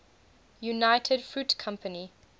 united fruit company